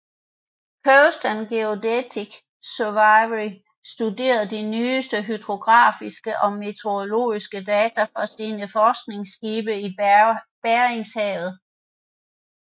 Coast and Geodetic Survey studerede de nyeste hydrografiske og meteorologiske data fra sine forskningsskibe i Beringshavet